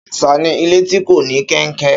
Ṣàṣà ni ilé tí kò ní kẹnkẹ